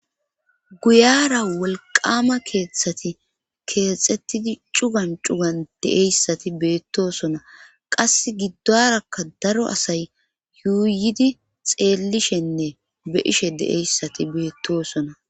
guyara wolqama keeththati keexxettidi cugan cugan deeyssati beettosona qas giddorakka daro asay yuuyidi xeellishenne be ishe de7eyssati beettosona